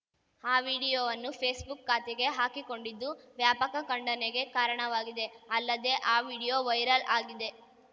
ಆ ವಿಡಿಯೋವನ್ನು ಫೇಸ್‌ಬುಕ್‌ ಖಾತೆಗೆ ಹಾಕಿಕೊಂಡಿದ್ದು ವ್ಯಾಪಕ ಖಂಡನೆಗೆ ಕಾರಣವಾಗಿದೆ ಅಲ್ಲದೇ ಆ ವಿಡಿಯೋ ವೈರಲ್‌ ಆಗಿದೆ